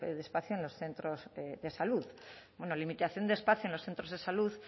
espacio en los centros de salud bueno limitación de espacio en los centros de salud